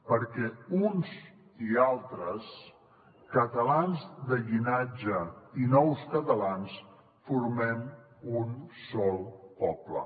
perquè uns i altres catalans de llinatge i nous catalans formem un sol poble